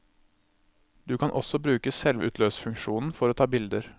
Du kan også bruke selvutløserfunksjonen for å ta bilder.